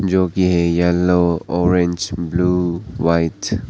जो की ये है येलो ऑरेंज ब्लू व्हाइट ।